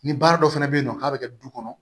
Ni baara dɔ fana bɛ yen nɔ k'a bɛ kɛ du kɔnɔ